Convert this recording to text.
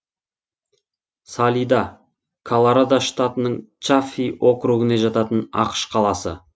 салида колорадо штатының чаффи округіне жататын ақш қаласы